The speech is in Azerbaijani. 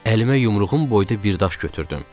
Əlimə yumruğum boyda bir daş götürdüm.